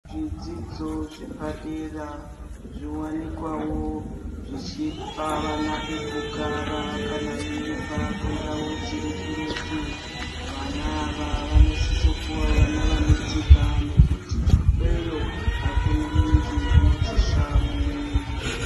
Zvidzidzo zvepadera zvo wanikwawo zvichipa vana pekugara kana veibva ku ndau dziri kuretu vana ava vanosisa kuva vana vane tsika nekuti ikweyo akuna munhu unoti svaa umweni.